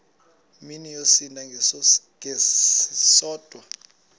mini yosinda ngesisodwa